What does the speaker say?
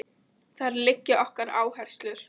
Þar liggja okkar áherslur